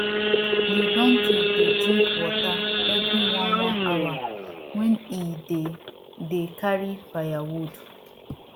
de donkey dey drink water evri one one hour wen e dey dey carry firewood